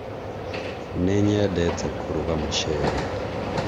nĩnyendete kũrũga mũcere